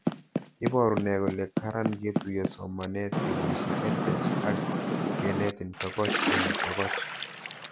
Iparu nee kole karan ketuyo somanet kepoishe EdTech ak kenetin tokoch eng' tokoch